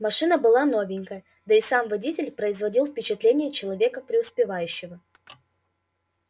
машина была новенькая да и сам водитель производил впечатление человека преуспевающего